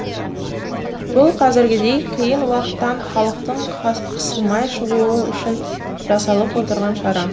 бұл қазіргідей қиын уақыттан халықтың қысылмай шығуы үшін жасалып отырған шара